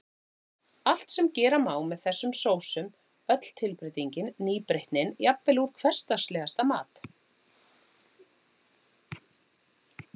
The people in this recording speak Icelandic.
Allt sem gera má með þessum sósum, öll tilbreytingin, nýbreytnin, jafnvel úr hversdagslegasta mat.